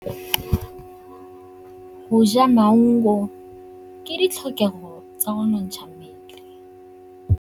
Go ja maungo ke ditlhokegô tsa go nontsha mmele.